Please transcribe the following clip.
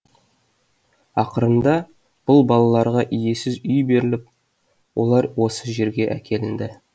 ақырында бұл балаларға иесіз үй беріліп олар осы жерге әкелінді